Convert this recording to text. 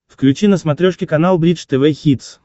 включи на смотрешке канал бридж тв хитс